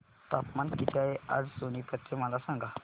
तापमान किती आहे आज सोनीपत चे मला सांगा